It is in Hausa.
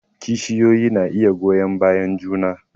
Kishiyoyi na iya goyon bayan juna